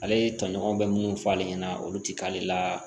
Ale tɔɲɔgɔn bɛ munnu fɔ ale ɲɛna olu ti k'ale la